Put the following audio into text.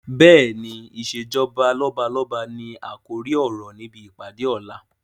Bẹ́ẹ̀ni, "ìsèjọba lọ́balọ́ba ni àkòrí ọ̀rọ̀ níbi ìpàdé ọ̀la